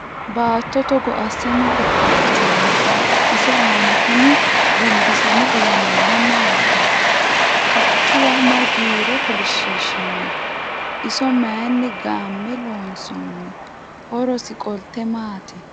Baatto togo asse mayi dhodhoosinno? ise aanna kunni gonbisamme uwe noori maatti? Qaccuwa mayi giire kolishiishinno? Iso mayiinni game loonsoonni? Horosi qolitte maati?